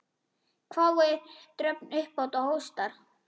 hváir Dröfn upphátt og hóstar.